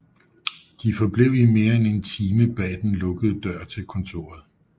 De forblev i mere end en time bag den lukkede dør til kontoret